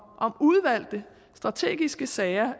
udvalgte strategiske sager